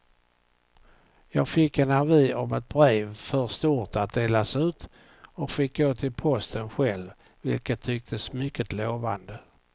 Jag fick en avi om ett brev för stort att delas ut och fick gå till posten själv, vilket tycktes mycket lovande.